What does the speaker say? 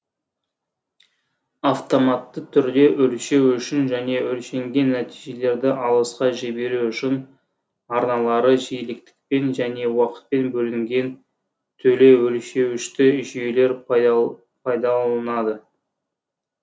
автоматты түрде өлшеу үшін және өлшенген нәтижелерді алысқа жіберу үшін арналары жиіліктікпен және уақытпен бөлінген телеөлшеуішті жүйелер пайдалнылады